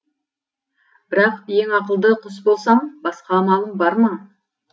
бірақ ең ақылды құс болсам басқа амалым бар ма